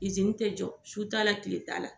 te jɔ su t'a la kile t'a la